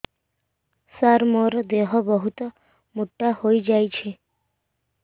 ସାର ମୋର ଦେହ ବହୁତ ମୋଟା ହୋଇଯାଉଛି